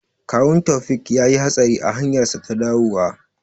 Kawun Taufiq yayi hatsari a hanyarsa ta dawowa.